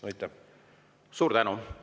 Suur tänu!